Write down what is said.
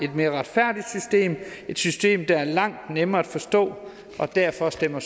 et mere retfærdigt system et system der er langt nemmere at forstå og derfor stemmer